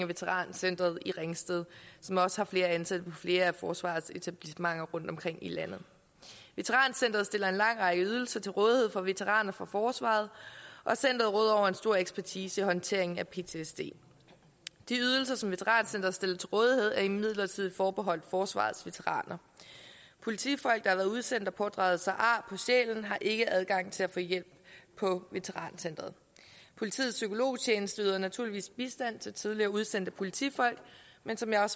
veterancentret i ringsted som også har ansatte på flere af forsvarets etablissementer rundtomkring i landet veterancentret stiller en lang række ydelser til rådighed for veteraner fra forsvaret og centeret stor ekspertise i håndteringen af ptsd de ydelser som veterancentret stiller til rådighed er imidlertid forbeholdt forsvarets veteraner politifolk der har været udsendt og pådraget sig ar på sjælen har ikke adgang til at få hjælp på veterancentret politiets psykologtjeneste yder naturligvis bistand til tidligere udsendte politifolk men som jeg